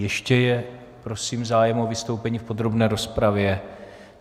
Ještě je prosím zájem o vystoupení v podrobné rozpravě?